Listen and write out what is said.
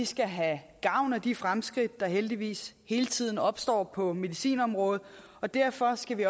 skal have gavn af de fremskridt der heldigvis hele tiden opstår på medicinområdet og derfor skal vi